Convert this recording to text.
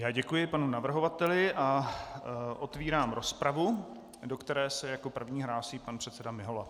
Já děkuji panu navrhovateli a otevírám rozpravu, do které se jako první hlásí pan předseda Mihola.